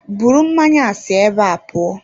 Bụrụ mmanya a si ébé a pụọ!